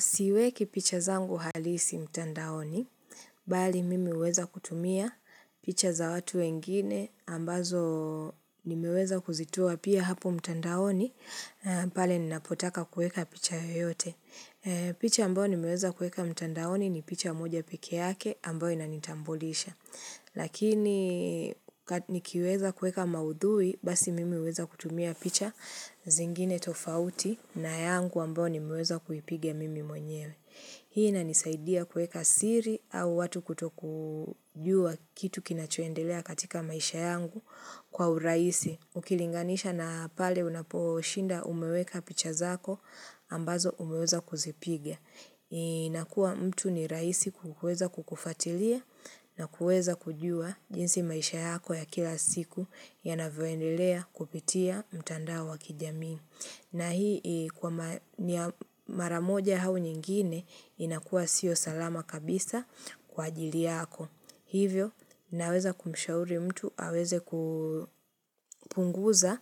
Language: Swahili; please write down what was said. Si weki picha zangu halisi mtandaoni, bali mimi hueza kutumia picha za watu wengine ambazo nimeweza kuzitoa pia hapo mtandaoni, pale ninapotaka kueka picha yoyote. Picha ambao nimeweza kueka mtandaoni ni picha moja peke yake ambao inanitambulisha Lakini ka nikiweza kueka maudhui basi mimi hueza kutumia picha zingine tofauti na yangu ambao nimeweza kuipiga mimi mwenyewe Hii inanisaidia kueka siri au watu kuto kujua kitu kinachoendelea katika maisha yangu kwa uraisi Ukilinganisha na pale unaposhinda umeweka pichazako ambazo umeweza kuzipiga. Inakua mtu ni raisi kukueza kukufatilia na kueza kujua jinsi maisha yako ya kila siku ya navoendelea kupitia mtandao wakijamii. Na hii kwa Mar niya maramoja au nyingine inakua sio salama kabisa kwa ajiliyako. Hivyo, naweza kumshauri mtu, aweze kupunguza